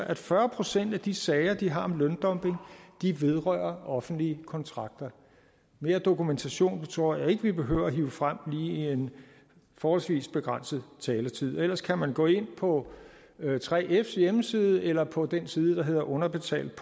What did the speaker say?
at fyrre procent af de sager de har om løndumping vedrører offentlige kontrakter mere dokumentation tror jeg ikke vi behøver at hive frem lige i en forholdsvis begrænset taletid ellers kan man gå ind på 3fs hjemmeside eller på den side der hedder underbetaltdk